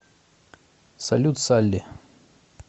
салют салли